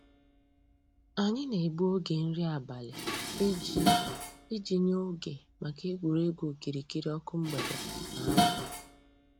Ànyị̀ nà-ègbù ògè nrí àbàlị̀ íjì íjì nyè ògè mǎká ègwè́régwụ̀ òkìrìkìrì ǒkụ̀ mgbèdè nà àbụ̀.